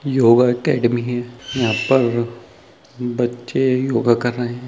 Yoga academy है यहाँ पर बच्चे योग कर रहे है।